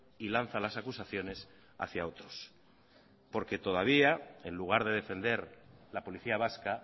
y lanza las acusaciones hacia otros porque todavía en lugar de defender la policía vasca